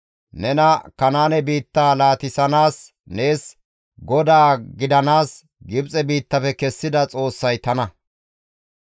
Nena Kanaane biitta laatissanaas nees GODAA gidanaas Gibxe biittafe kessida Xoossay tana.